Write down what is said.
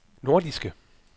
nordiske